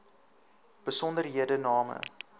besonderhedename